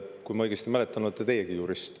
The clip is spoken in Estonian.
Kui ma õigesti mäletan, siis olete teiegi jurist.